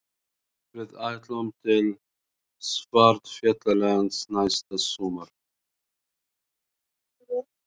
Við ætlum til Svartfjallalands næsta sumar.